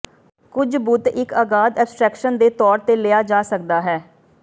ਕੁਝ ਬੁੱਤ ਇੱਕ ਅਗਾਧ ਐਬਸਟਰੈਕਸ਼ਨ ਦੇ ਤੌਰ ਤੇ ਲਿਆ ਜਾ ਸਕਦਾ ਹੈ